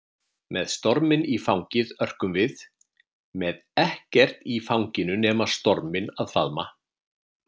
Með storminn í fangið örkum við, með ekkert í fanginu nema storminn að faðma.